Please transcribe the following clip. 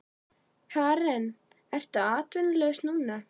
Karen: Ertu atvinnulaus núna?